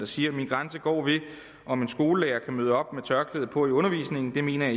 siger min grænse går ved om en skolelærer kan møde op med tørklæde på i undervisningen det mener